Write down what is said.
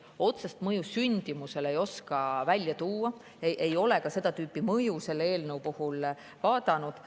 Otsest mõju sündimusele ei oska välja tuua, ei ole ka seda tüüpi mõju selle eelnõu puhul vaadanud.